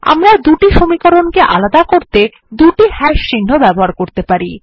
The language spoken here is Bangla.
আমরা দুটি সমীকরণ কে আলাদা করতে দুটি হাশ চিহ্ন ব্যবহার করতে পারি